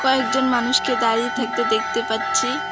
কয়েকজন মানুষকে দাঁড়িয়ে থাকতে দেখতে পাচ্ছি।